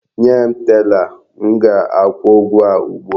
Nye m tela! M ga-akwụ ụgwọ a ugbu a!